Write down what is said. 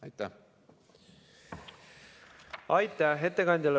Aitäh ettekandjale!